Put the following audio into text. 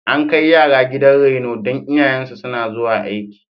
An kai yara gidan reno don iyayensu suna zuwa aiki.